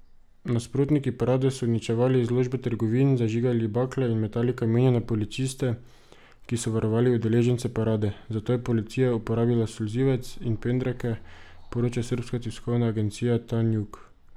Nasprotniki parade so uničevali izložbe trgovin, zažigali bakle in metali kamenje na policiste, ki so varovali udeležence parade, zato je policija uporabila solzivec in pendreke, poroča srbska tiskovna agencija Tanjug.